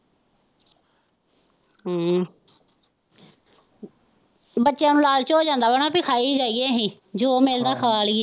ਹਮ ਬੱਚਿਆ ਨੂੰ ਲਾਲਚ ਹੋ ਜਾਂਦਾ ਵਾ ਨਾ ਕਿ ਖਾਈ ਜਾਈਏ ਅਸੀਂ ਜੋ ਮਿਲਦਾ ਖਾ ਲੀ।